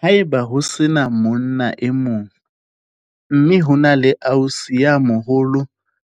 Ha e ba ho se na monna e mong, mme hona le ausi ya moholo